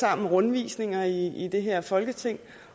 sammen rundvisninger i det her folketing